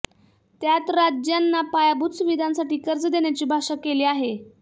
त्यात राज्यांना पायाभूत सुविधांसाठी कर्ज देण्याची भाषा केली आहे